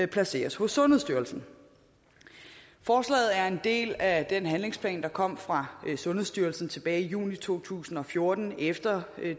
placeres hos sundhedsstyrelsen forslaget er en del af den handlingsplan der kom fra sundhedsstyrelsen tilbage i juni to tusind og fjorten efter